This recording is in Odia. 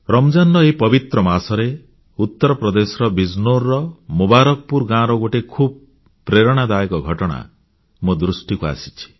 ରମଜାନର ଏହି ପବିତ୍ର ମାସରେ ଉତ୍ତରପ୍ରଦେଶର ବିଜନୌରର ମୁବାରକପୁର ଗାଁର ଗୋଟିଏ ଖୁବ୍ ପ୍ରେରଣାଦାୟକ ଘଟଣା ମୋ ଦୃଷ୍ଟିକୁ ଆସିଛି